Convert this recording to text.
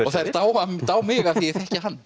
og þær dá dá mig af því ég þekki hann